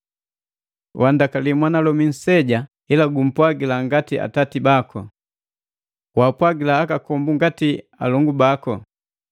Wandakali mwanalomi nseja, ila gumpwagila ngati atati baku. Wapwagila akakombu ngati alongu baku,